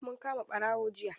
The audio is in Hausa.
Mun kama ɓarawo jiya.